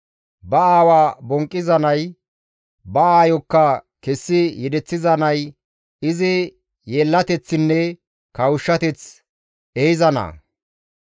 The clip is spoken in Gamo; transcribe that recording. Ba aawa bonqqiza nay, ba aayokka kessi yedeththiza nay izi yeellateththinne kawushshateth ehiza naa.